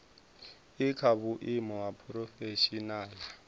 i kha vhuimo ha phurofeshinala